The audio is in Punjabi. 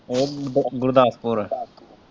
ਉਹ ਗੁਰਦਾਸਪੁਰ।